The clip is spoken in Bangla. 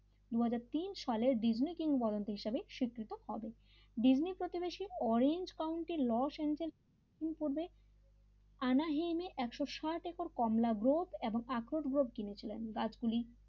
দুয় হাজার তিন সালে ডিজনি কিং বরন্ত হিসেবে স্বীকৃত হবে ডিজনি প্রতিবেশী অরেঞ্জ কাউন্টিং লস এঞ্জেল কি করবে আনা হেন একশ সাত একর কমলা গ্রুপ আকর গ্রুপ কিনে ছিলেন